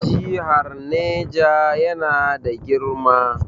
Jihar Niger yana na girma.